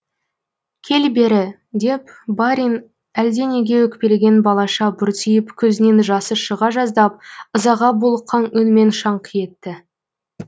кел бері деп барин әлде неге өкпелеген балаша бұртиып көзінен жасы шыға жаздап ызаға булыққан үнмен шаңқ етті